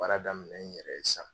Baara daminɛ n yɛrɛ ye sisan